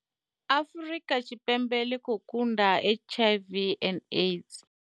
Afrika Tshipembe ḽi khou kunda HIV and Aids.